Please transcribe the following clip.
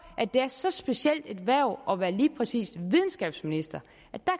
at det er så specielt et hverv at være lige præcis videnskabsminister